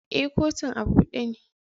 Eh, kotun a bude ne.